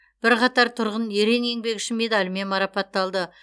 бірқатар тұрғын ерен еңбегі үшін медалімен марапатталды